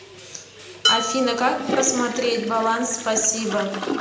афина как просмотреть баланс спасибо